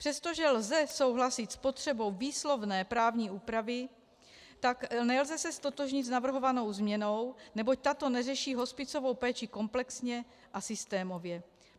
Přestože lze souhlasit s potřebou výslovné právní úpravy, tak se nelze ztotožnit s navrhovanou změnou, neboť tato neřeší hospicovou péči komplexně a systémově.